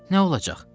Nə olacaq?